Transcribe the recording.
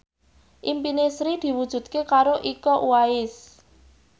impine Sri diwujudke karo Iko Uwais